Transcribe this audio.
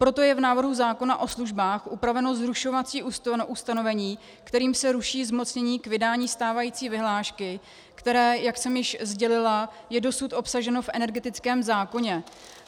Proto je v návrhu zákona o službách upraveno zrušovací ustanovení, kterým se ruší zmocnění k vydání stávající vyhlášky, které, jak jsem již sdělila, je dosud obsaženo v energetickém zákoně.